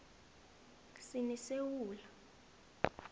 sinesewula